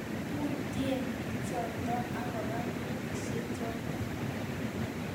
utyee biik choto agoba fundishek choto